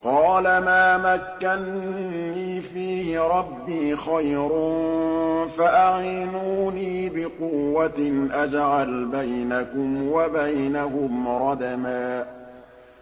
قَالَ مَا مَكَّنِّي فِيهِ رَبِّي خَيْرٌ فَأَعِينُونِي بِقُوَّةٍ أَجْعَلْ بَيْنَكُمْ وَبَيْنَهُمْ رَدْمًا